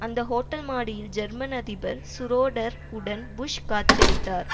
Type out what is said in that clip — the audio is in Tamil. அந்த ஹோட்டல் மாடியில் ஜெர்மன் அதிபர் சுரோடர் உடன் புஷ் காட்சியளித்தார்